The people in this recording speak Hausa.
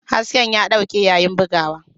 Hasken ya dauke yayin bugawa.